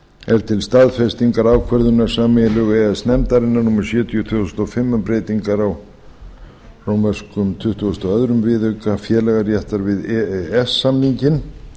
er til staðfestingar ákvörðunar sameiginlegu e e s nefndarinnar númer sjötíu tvö þúsund og fimm um breytingar á tuttugustu og öðrum viðauka félagaréttar við e e s samninginn